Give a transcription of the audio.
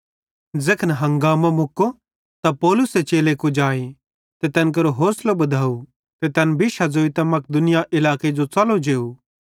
ज़ैखन हंगामो मुक्को त पौलुसे चेले कुजाए ते तैन केरो होसलो बधव ते तैन बिश्शा ज़ोइतां मकिदुनिया इलाके जो च़लो जेव